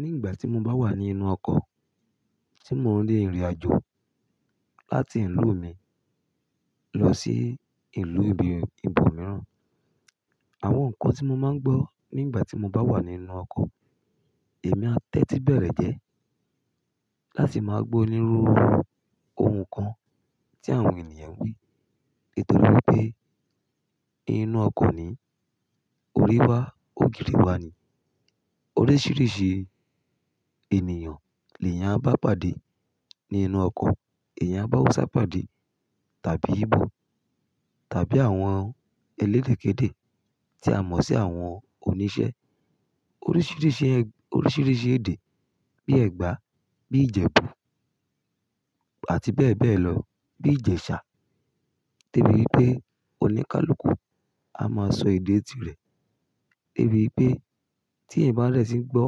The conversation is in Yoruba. Ní ìgbà tí mo bá wà ní inú ọkọ̀ tí mò ń re ìrìnàjò láti ìlú mi lọ sí ìlú ibi ibo mìíràn, àwọn nǹkan tí mo máa ń gbọ́ nígbà tí mo bá wà nínú ọkọ̀, èmi a tẹ́tí bẹ̀rẹ̀ jẹ́ láti máa gbó niru ohùn kan tí àwọn ènìyàn ń wí. Nítorí wipé inú ọkọ̀ ni, orí wá, ògiri wa ni. Oríṣìíríṣìí ènìyàn ni èèyàn a bá pàdé ní inú ọkọ̀. Èèyàn a ba Hausa pàdé tàbí Íbò tàbí àwọn elédèkéde tí a mọ̀ sí àwọn oníṣẹ́. Oríṣìíríṣìí, oríṣìíríṣìí èdè bíi Ẹ̀gbá, bíi Ìjẹ̀bú àti bẹ́ẹ̀ bẹ́ẹ̀ lọ bíi Ìjẹ̀sà. Debi wipé oníkálukú a máa sọ èdè tirẹ̀. Debi pé tí ẹ̀ bá rẹ̀ sí í gbọ́